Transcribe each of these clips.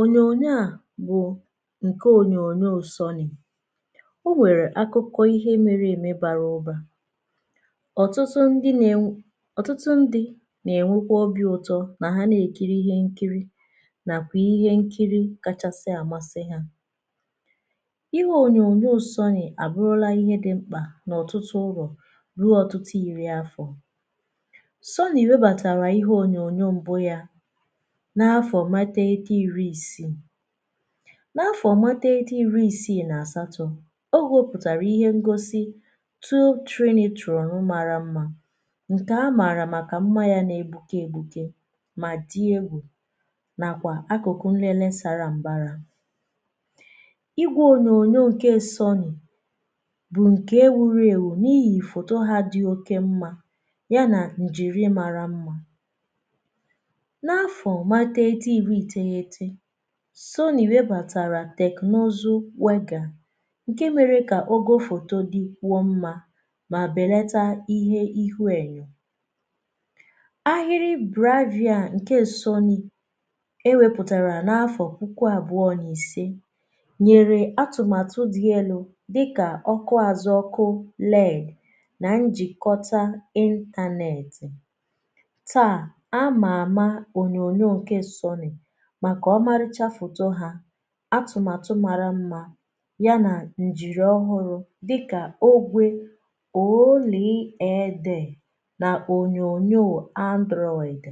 ònyòònyo a bụ̀ ǹke ònyòònyo sọni̇ o nwèrè akụkọ ihe mere ème bara ubȧ ọ̀tụtụ ndị nà-enw.. ọ̀tụtụ ndị nà-ènwekwa ọbịa ụtọ nà ha nà-èkiri ihe nkiri nà kwà ihe nkiri kachasị àmasị hȧ ihe ònyòònyo sọnyì àbụrụla ihe dị mkpà n’ọ̀tụtụ ụrọ̀ ruo ọ̀tụtụ ìri afọ̀ sọnyì webàtàrà ihe ònyòònyo m̀bụ yȧ n’afọ̀ mata ede iri isii n’afọ̀ mata ede iri isii na-asatọ̀ gharbutara ihe ngosi abuó Trinitron mara mmȧ ǹke a maara màkà mmȧ ya na-egbuke egbukė mà dị egwù nakwà akụkụ nlele sara mbarà ịgwé ònyòònyo sony bụ̀ ǹke ewuru ewu n’ihi foto ha dị oke mmȧ ya na njiri mara mmȧ, n’afọ̀ mata ede iri isii ítéyité soni webatàrà tẹ̀kniụzụ wegà ǹke mẹrẹ kà oge ofòto dị kwụọ mmȧ mà bèlata ihe ihu ẹ̀nyẹ̀ ahịrị bravia ǹke soni e wepùtàrà n’afọ puku àbụọ n’isi nyèrè atụ̀matụ dị elu dịkà ọkụ azụ ọkụ leg na njikọtà ịntȧnẹ̀tị̀ taa amà àma onyonyȯ ñke soni máká ómáríchá fótó há atụ̀matụ̀ mara mmȧ ya na njiri ọhụrụ̇ dịkà ogwe ólee édé na onyoonyo Android,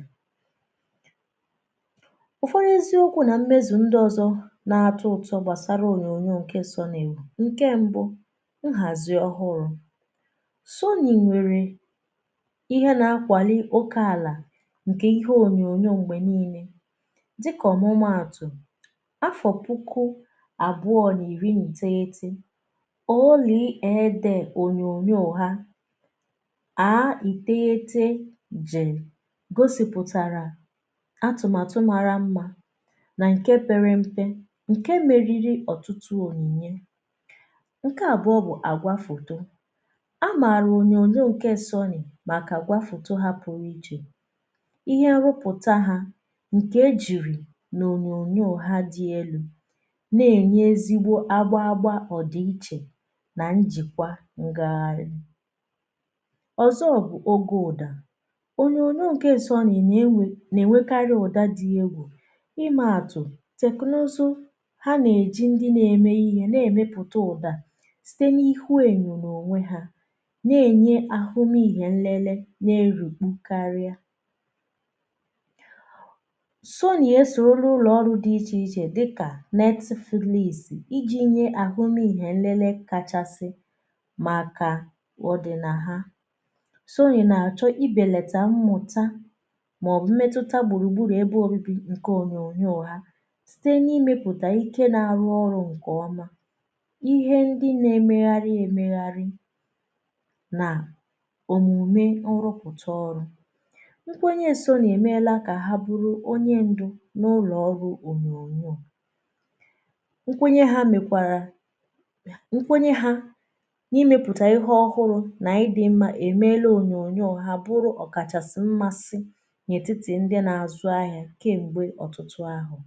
ófódí éziokwu na mmezu ndị ọzọ̇ na-atọ ụtọ gbasara onyoonyo nke sony ewu, nke mbụ nhazi ọhụrụ sony nwéré íhé ná ákwaní óké álá nké íhé ònyònyoò ngbéníle díká ómuma átu afọ̀puku àbụọ n’ìri nteghete olìe edè ònyònyoò ha àá ìtėghete jè gosìpụ̀tàrà atụ̀màtụ mara mmȧ nà ǹke pėrė mpė ǹke meriri ọ̀tụtụ ònìnye ǹke àbụọ bụ̀ àgwafòto a màrà ònyònyo ǹke sony màkà àgwafòto hapụ̀rụ̀ ichè íhe nrubutá há nké ejirí ná ònyònyo dí élu na-ènye ezigbo agba agba ọ dị ichè na njikwa ngegharị ọzọ bụ oge ụdà onyo onyo nké S sony na-enwekarị ụdà dị egwu ime atụ teknụzụ ha na-eji ndị na-eme ihe na-emepụta ụdà site na ihu enyo n’onwe ha na-enye ahụmihe nlele na-erùkpu karịa. Soni ésóru uló óru di íchéíche diká n’etifùlìsì iji̇ nye àhụ nà ihė nlele kachasị màkà ọ dị̀ nà ha soni na-achọ̀ ibèlètà mmụ̀ta màọ̀bụ̀ mmetutȧ gbùrùgburù ebe ȯbi̇ ǹkè onyo onyo ha site n’imėpùtà ike na-arụ ọrụ̇ ǹkè ọma ihe ndị na-emegharị emegharị na òmùme ọrụpụ̀ta ọrụ nkwenye Soni émélá ká ha buru ónyé ndu n'ulóru ònyònyoò, nkwenye ha mekwara nkwenye ha n’imėpùtà ihe ọhụrụ̇ nà ịdị̇ mmȧ èmele ònyònyoò ha bụrụ ọ̀kàchàsị̀ mmasị n’ètitì ndị n’àzụ ahịà kem̀gbè ọ̀tụtụ ahụ̀